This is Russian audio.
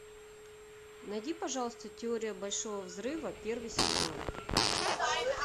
найди пожалуйста теория большого взрыва первый сезон